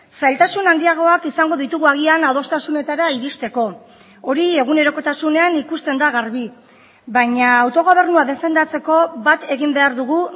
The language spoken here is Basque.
zailtasun handiagoak izango ditugu agian adostasunetara iristeko hori egunerokotasunean ikusten da garbi baina autogobernua defendatzeko bat egin behar dugu